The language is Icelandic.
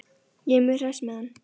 Ég er mjög hress með hann.